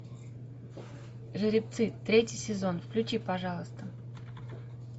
жеребцы третий сезон включи пожалуйста